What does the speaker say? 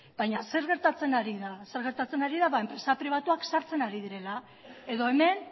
baina zer gertatzen ari da ba enpresa pribatuak sartzen ari direla edo hemen